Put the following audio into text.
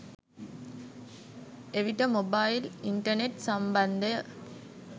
එවිට mobile internet සම්බන්ධය